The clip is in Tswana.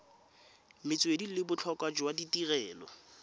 metswedi le botlhokwa jwa tirelo